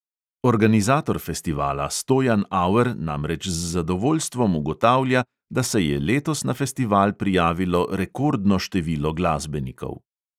Organizator festivala stojan auer namreč z zadovoljstvom ugotavlja, da se je letos na festival prijavilo rekordno število glasbenikov.